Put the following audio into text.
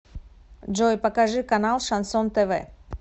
джой покажи канал шансон тв